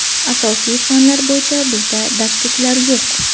Asosiy fanlar bo‘yicha bizda darsliklar yo‘q.